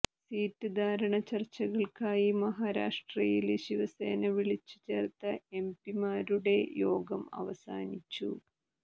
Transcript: seat ധാരണ ചർച്ചകള്ക്കായി മഹാരാഷ്ട്രയില് ശിവസേന വിളിച്ച് ചേർത്ത എം പിമാരുടെ യോഗം അവസാനിച്ചു